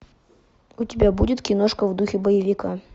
у тебя будет киношка в духе боевика